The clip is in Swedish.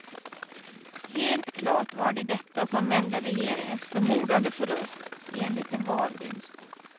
Helt klart var det detta som vände regeringens förmodade förlust i en liten valvinst.